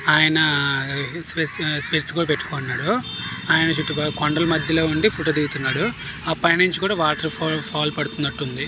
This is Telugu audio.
ఆయన స్పెట్స్ కూడా పెట్టుకొని ఉన్నాడు. ఆయన కొండల మధ్యలో నుండి ఫోటో లు దిగుతున్నాడు. ఆ పైనుండి కూడా వాటర్ ఫాల్స్ పడుతున్నట్టు ఉంది.